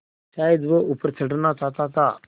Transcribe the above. शायद वह ऊपर चढ़ना चाहता था